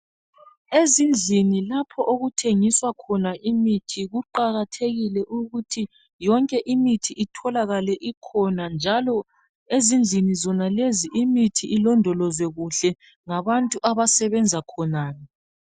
Ezindlini lapho okuthengiswa khona imithi kuqakathekile ukuthi yonke imithi itholakale ikhona njalo ezindlini zonalezi imithi ilondolozwe kuhle ngabantu abasebenza khonale.